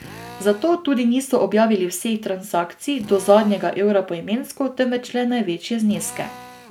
Zato tudi niso objavili vseh transakcij do zadnjega evra poimensko, temveč le največje zneske.